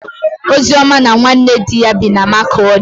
Ozioma na nwanne di ya bi na Makọdị.